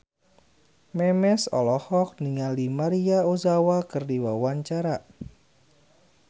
Memes olohok ningali Maria Ozawa keur diwawancara